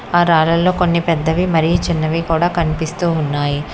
ఆ రాళ్లల్లో కొన్ని పెద్దవి మరియు చిన్నవి కూడా కనిపిస్తూ ఉన్నాయి.